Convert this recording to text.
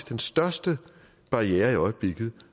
den største barriere i øjeblikket